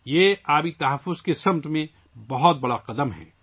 یہ پانی کے تحفظ کی طرف ایک بڑا قدم ہے